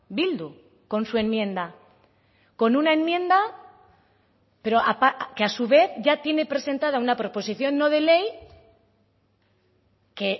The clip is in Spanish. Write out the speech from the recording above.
bildu con su enmienda con una enmienda pero que a su vez ya tiene presentada una proposición no de ley que